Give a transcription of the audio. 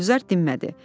Gülzar dinmədi.